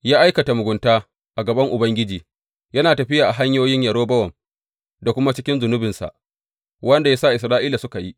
Ya aikata mugunta a gaban Ubangiji, yana tafiya a hanyoyin Yerobowam da kuma cikin zunubinsa, wanda ya sa Isra’ila suka yi.